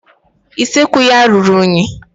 Usekwu ya ọ ruru unyi?